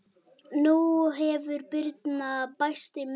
Nú hefur Birna bæst í myndasafnið.